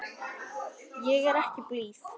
Ég er ekki blíð.